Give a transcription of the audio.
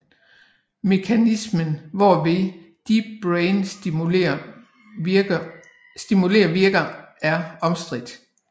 Mekanismen hvorved deep brain stimulation virker er omstridt